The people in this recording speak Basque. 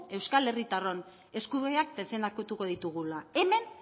euskal herritarron eskubideak defendatuko ditugula hemen